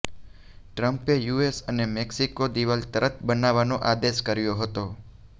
ટ્રમ્પે યુએસ અને મેક્સિકો દીવાલ તરત બનાવવાનો આદેશ કર્યો હતો